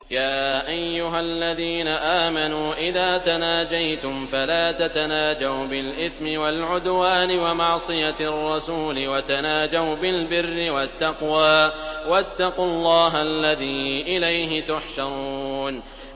يَا أَيُّهَا الَّذِينَ آمَنُوا إِذَا تَنَاجَيْتُمْ فَلَا تَتَنَاجَوْا بِالْإِثْمِ وَالْعُدْوَانِ وَمَعْصِيَتِ الرَّسُولِ وَتَنَاجَوْا بِالْبِرِّ وَالتَّقْوَىٰ ۖ وَاتَّقُوا اللَّهَ الَّذِي إِلَيْهِ تُحْشَرُونَ